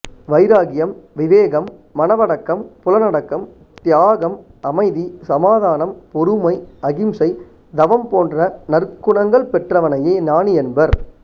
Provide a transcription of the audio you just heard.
வைராக்கியம் விவேகம் மனவடக்கம் புலனடக்கம் தியாகம் அமைதி சமாதானம் பொறுமை அகிம்சை தவம் போன்ற நற்குணங்கள் பெற்றவனையே ஞானி என்பர்